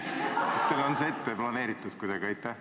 Kas teil oli see kuidagi ette planeeritud?